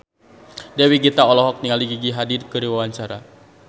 Dewi Gita olohok ningali Gigi Hadid keur diwawancara